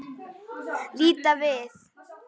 Líta við.